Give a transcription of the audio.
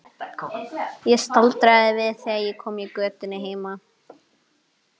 Ég staldraði við þegar ég kom í götuna heima.